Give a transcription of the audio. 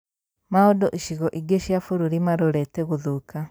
Maũndũ icigo ingĩ cia bũrũri marorete gũthũka